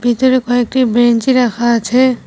ভিতরে কয়েকটি বেঞ্চি রাখা আছে।